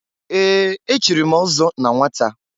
Ee! Echiri m ọzọ na nwata.